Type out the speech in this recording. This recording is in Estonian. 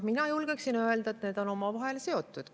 Mina julgen öelda, et need on omavahel seotud.